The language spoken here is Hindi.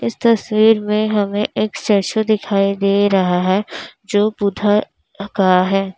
इस तस्वीर में हमें एक स्टेच्यू दिखाई दे रहा है जो बुद्धा का है।